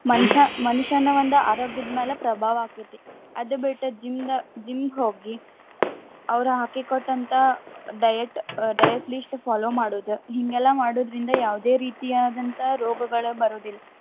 ಮನಷ್ಯ ಮನುಷ್ಯನ ಒಂದ್ ಆರೋಗ್ಯದ ಮೇಲೆ ಪ್ರಭಾವ ಆಕ್ಕೇತಿ. ಅದು ಬಿಟ್ಟ್ gym ದಾ gym ಗ್ ಹೋಗಿ ಅವ್ರ ಹಾಕಿ ಕೊಟ್ಟಂತ diet ಅಹ್ diet list follow ಮಾಡೋದ್ ಹಿಂಗೆಲ್ಲಾ ಮಾಡೊದ್ರಿಂದ ಯಾವುದೇ ರೀತಿಯಾದಂತ ರೋಗಗಳ್ ಬರೋದಿಲ್ಲಾ.